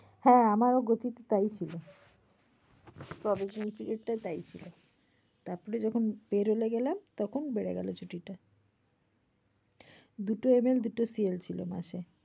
হ্যাঁ আমারও gucci তে তাই ছিল। provation period টা তাই ছিল। তারপর যখন payroll এ গেলাম তখন বেড়ে গেল ছুটিটা। দুটো ML দুটো CL ছিল মাসে।